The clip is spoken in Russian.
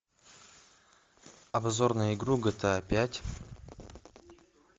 обзор на игру гта пять